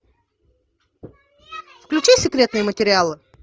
включи секретные материалы